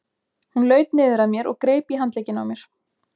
Hún laut niður að mér og greip í handlegginn á mér.